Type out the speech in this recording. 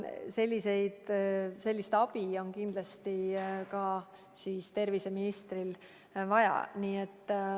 Sellist abi on kindlasti ka terviseministril vaja.